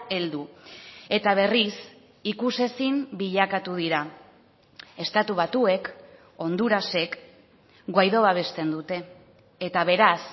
heldu eta berriz ikusezin bilakatu dira estatu batuek hondurasek guaidó babesten dute eta beraz